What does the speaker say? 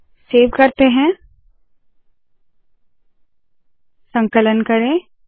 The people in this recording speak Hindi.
सेव करते है संकलन करे